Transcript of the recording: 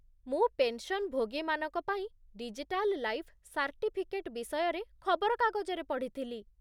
ମୁଁ ପେନ୍‌ସନ୍‌ଭୋଗୀମାନଙ୍କ ପାଇଁ 'ଡିଜିଟାଲ୍ ଲାଇଫ୍ ସାର୍ଟିଫିକେଟ୍' ବିଷୟରେ ଖବରକାଗଜରେ ପଢ଼ିଥିଲି ।